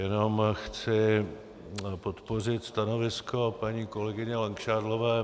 Jenom chci podpořit stanovisko paní kolegyně Langšádlové.